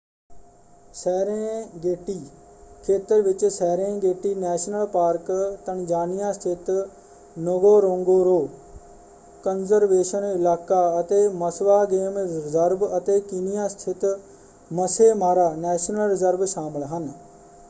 Serengeti ਖੇਤਰ ਵਿੱਚ Serengeti national park Tanzania ਸਥਿਤ ਨਗੋਰੋਂਗੋਰੋ ਕਨਜ਼ਰਵੇਸ਼ਨ ਇਲਾਕਾ ਅਤੇ ਮਸਵਾ ਗੇਮ ਰੀਜ਼ਰਵ ਅਤੇ ਕੀਨੀਆ ਸਥਿਤ ਮੱਸੇ ਮਾਰਾ ਨੈਸ਼ਨਲ ਰੀਜ਼ਰਵ ਸ਼ਾਮਲ ਹਨ।